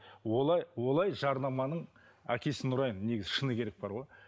олай олай жарнаманың әкесін ұрайын негізі шыны керек бар ғой